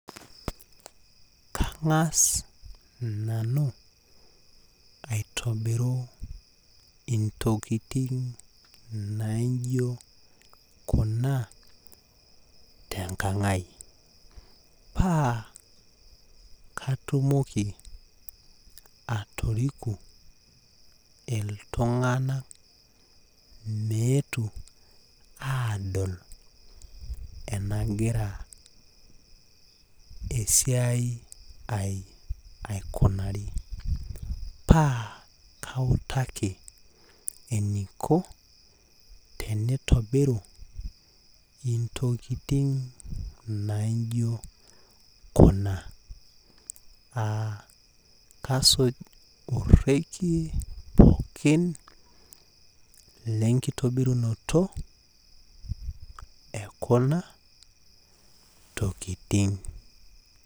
Kangas nanu aitobiru intokitin naijo kuna tenkangai paa katumoki atoriku iltunganak meetu aadol enagira esiai ai akunari paa kautaki eniko tenitobiru ntokitin naijo kuna aa kasuj orekie pooki lenkitobirunoto ekuna tokitin.